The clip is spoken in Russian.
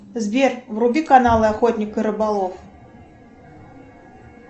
сбер вруби канал охотник и рыболов